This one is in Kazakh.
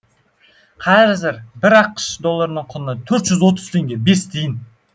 қазір бір ақш долларының құны төрт жүз отыз теңге бес тиын